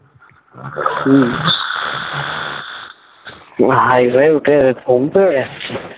high টাই উঠে ঘুম পেয়ে যাচ্ছে